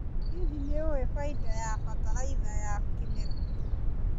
Hihi nĩũĩ bainda wa bataraitha ya kĩmerera.